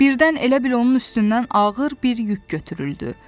Birdən elə bil onun üstündən ağır bir yük götürüldü.